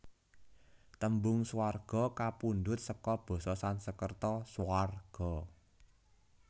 Tembung Swarga kapundhut seka basa Sansekerta Svarga